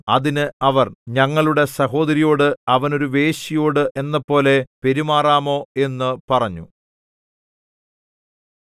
അതിന് അവർ ഞങ്ങളുടെ സഹോദരിയോട് അവന് ഒരു വേശ്യയോട് എന്നപോലെ പെരുമാറാമോ എന്നു പറഞ്ഞു